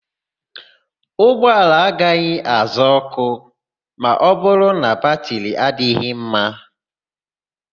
Ụgbọala agaghị àzá òkù ma ọbụrụ na batịrị adịghị mma.